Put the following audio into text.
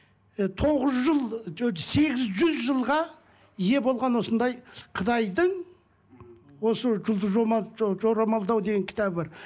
і тоғыз жыл сегіз жүз жылға ие болған осындай қытайдың осы жұлдыз жорамалдау деген кітабы бар